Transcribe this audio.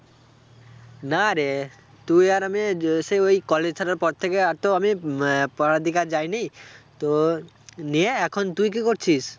না রে, তুই আর আমি সেই ওই college ছাড়ার পর থেকে আর তো আমি উম আহ পড়ার দিকে আর যায়নি তো নিয়ে এখন তুই কি করছিস?